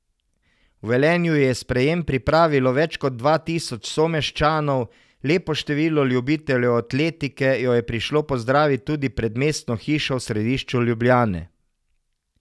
V Velenju ji je sprejem pripravilo več kot dva tisoč someščanov, lepo število ljubiteljev atletike jo je prišlo pozdravit tudi pred Mestno hišo v središču Ljubljane.